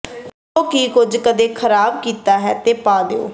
ਜੋ ਕਿ ਕੁਝ ਕਦੇ ਖਰਾਬ ਕੀਤਾ ਹੈ ਤੇ ਪਾ ਦਿਓ